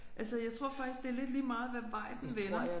Altså jeg tror faktisk det er lidt lige meget hvad vej den vender